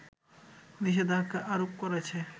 নিষেধাজ্ঞা আরোপ করেছে